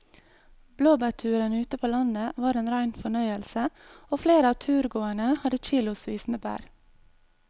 Blåbærturen ute på landet var en rein fornøyelse og flere av turgåerene hadde kilosvis med bær.